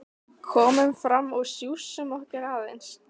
Komum fram og sjússum okkur aðeins.